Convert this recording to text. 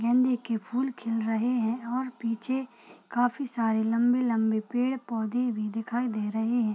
गेंदे के फूल खिल रहे हैं और पीछे काफी सारे लंबे-लंबे पेड़-पौधे भी दिखाई दे रहे हैं।